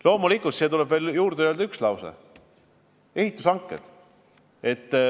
Loomulikult, siia tuleb juurde öelda üks asi: ehitushanked.